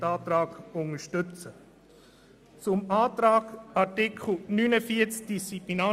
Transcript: Deshalb unterstützen wir den Antrag der Minderheit der Kommission.